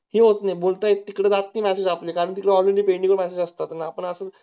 ते ok बोलतेत तिकडे जास्ती नादी जात नायत कारण कि ती already pending मध्ये असतात ना पण असू